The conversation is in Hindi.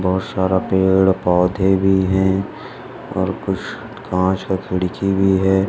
बहुत सारा पेड़-पौधे भी और कुछ कांच की खिड़की भी है।